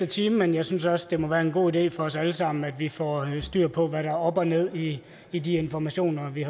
time men jeg synes også det må være en god idé for os alle sammen at vi får styr på hvad der er op og ned i i de informationer vi